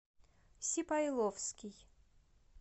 сипайловский